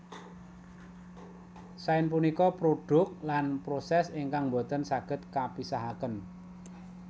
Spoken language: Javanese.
Sains punika produk lan proses ingkang mbotèn sagèd kapisahakèn